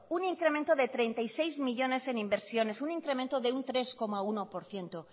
un incremento de treinta y seis millónes en inversiones un incremento de un tres coma uno por ciento